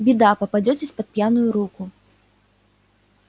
беда попадётесь под пьяную руку